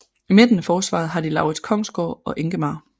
I midten af forsvaret har de Laurits Kongsgaard og Enghemar